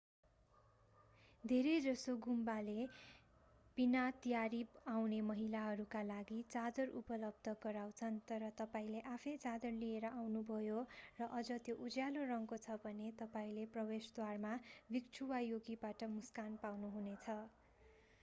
धेरैजसो गुम्बाले विनातयारी आउने महिलाहरूका लागि चादर उपलब्ध गराउँछन् तर तपाईंले आफैं चादर लिएर आउनुभयो र अझ त्यो उज्यालो रङको छ भने तपाईंले प्रवेशद्वारमा भिक्षु वा योगीबाट मुस्कान पाउनुहुनेछ